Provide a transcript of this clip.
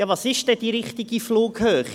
Was ist denn die richtige Flughöhe?